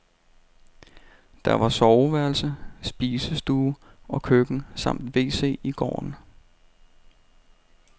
Der var soveværelse, spisestue og køkken samt wc i gården.